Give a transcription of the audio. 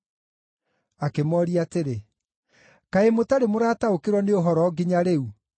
Akĩmooria atĩrĩ, “Kaĩ mũtarĩ mũrataũkĩrwo nĩ ũhoro nginya rĩu?”